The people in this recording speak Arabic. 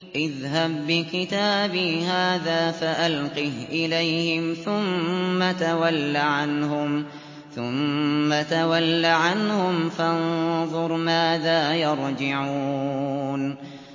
اذْهَب بِّكِتَابِي هَٰذَا فَأَلْقِهْ إِلَيْهِمْ ثُمَّ تَوَلَّ عَنْهُمْ فَانظُرْ مَاذَا يَرْجِعُونَ